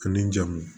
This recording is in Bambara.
Ani jamu